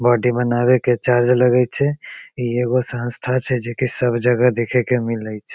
Body बनावे के charge लगये छय इ ईगो संस्था छे जे की सब जगह देखे के मिलेय छ।